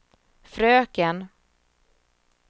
fröken